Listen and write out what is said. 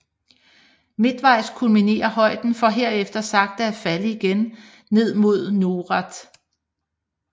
Midtvejs kulminerer højden for herefter sagte at falde igen ned mod Noret